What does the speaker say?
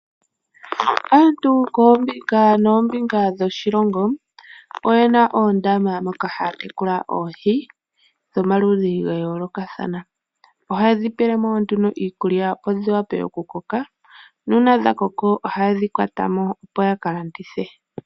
Aantu kombinga nombinga dho shilongo oyen oondama moka haya tekula oohi dho maludhi ga yoolokathana. Ohaya dhi pelemo nduno iikulya opo dhi wape oku koka, nuuna dha koko ohaye dhi kwatamo opo yaka landithe.